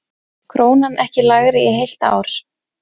Krónan ekki lægri í heilt ár